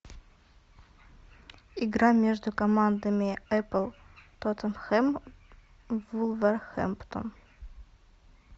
игра между командами апл тоттенхэм вулверхэмптон